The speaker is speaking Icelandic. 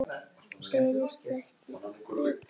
Gerist ekki betra.